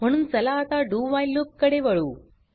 म्हणून चला आता doव्हाईल लूप कडे वळू